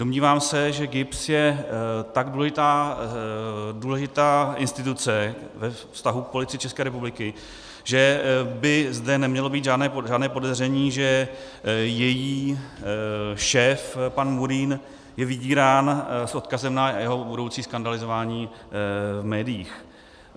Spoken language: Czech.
Domnívám se, že GIBS je tak důležitá instituce ve vztahu k Policii České republiky, že by zde nemělo být žádné podezření, že její šéf pan Murín je vydírán s odkazem na jeho budoucí skandalizování v médiích.